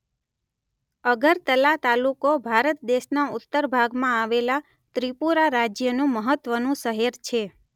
અગરતલા તાલુકો ભારત દેશના ઉત્તર ભાગમાં આવેલા ત્રિપુરા રાજ્યનું મહત્વનું શહેર છે.